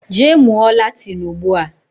Jee mmuo Latin Ugbua